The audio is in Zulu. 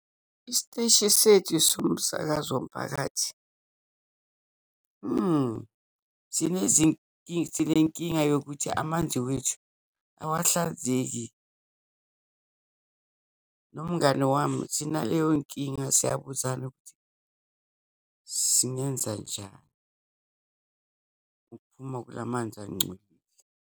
Isiteshi sethu somsakazo womphakathi, mhmm sinenkinga yokuthi amanzi wethu awahlanzeki. Nomngani wami sinaleyo nkinga, siyabuzana ukuthi singenza njani ukuphuma kula manzi angcolile.